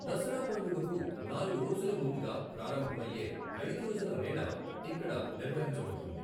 దసరా పండుగకు నాలుగు రోజుల ముందుగా ప్రారంభమయ్యే ఐదు రోజుల మేళా ఇక్కడ నిర్వహించబడుతుంది.